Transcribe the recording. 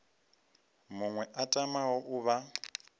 muṅwe a tamaho u vha